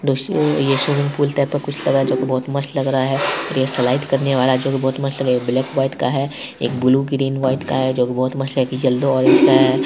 दोस्तों यह एक स्विमिंग पूल टाइप का कुछ लग रहा है जो की बहुत मस्त लग रहा है यह स्लाइड करने वाला जो की बहुत मस्त लग रहा है एक ब्लैक व्हाइट का है एक ब्लू ग्रीन वाइट का है जो भी बहुत मस्त लग रहा है एक येलो ऑरेंज का है ।